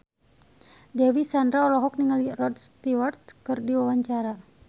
Dewi Sandra olohok ningali Rod Stewart keur diwawancara